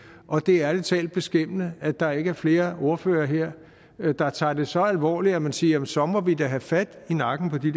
og det er ærlig talt beskæmmende at der ikke er flere ordførere her der tager det så alvorligt at man siger jamen så må vi da have fat i nakken på de